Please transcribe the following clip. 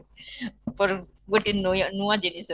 ଉପରୁ ଗୋଟେ ନୁଆ ଜିନିଷ